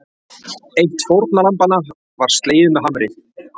Eitt fórnarlambanna var slegið með hamar